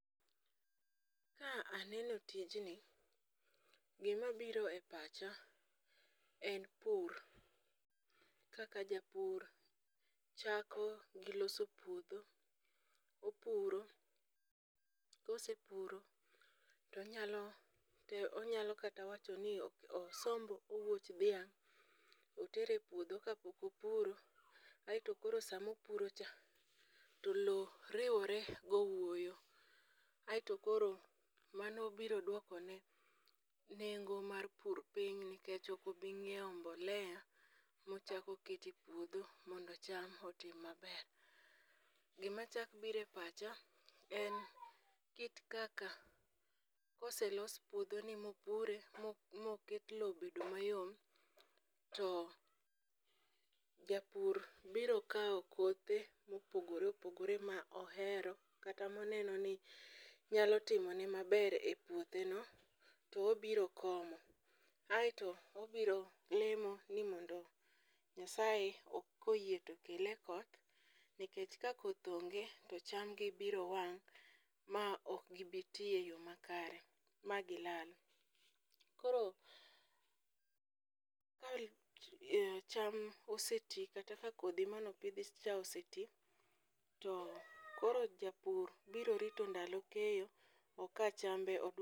Ka aneno tijni, gimabiro e pacha en pur kaka japur chako gi loso puodho, opuro ,kosepuro, tonyalo kata wacho ni osomb owuoch dhiang' kapok opuro, aeto koro sama opurocha to lowo riwore gowoyo, aeto koro mano biro dwokone nengo mar pur piny nikech ok obichako onyiewo mbolea mochako oketo e puodho mondo cham otim maber. Gimachak biro e pacha en kit kaka koselos puodhoni mopure moket lowo obedo mayom, to japur biro kawo kothe mopogore opogore ma ohero kata maneno ni nyalo timne maber e puotheno, to obiro komo, aeto obiro lemo ni Nyasaye koyie tokele koth nikech ka koth onge to chamgi biro wang' ma ok gibiti e yo makare, ma gilal. Koro cham oseti kata ka kodhi mano pidhi cha oseti, koro japur biro rito ndalo kaeyo, oka chambe.